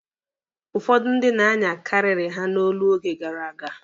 Ụfọdụ ndị na-anya karịrị ha n'olo oge gara aga.